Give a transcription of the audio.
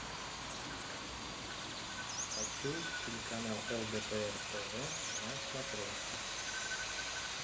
хочу телеканал лдпр тв на смотрешке